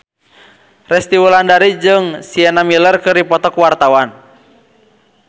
Resty Wulandari jeung Sienna Miller keur dipoto ku wartawan